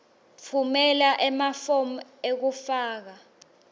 tfumela emafomu ekufaka